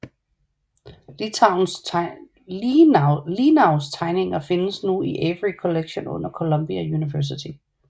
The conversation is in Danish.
Lienaus tegninger findes nu i Avery Collection under Columbia University